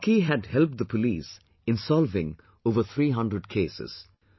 Rocky had helped the police in solving over 300 cases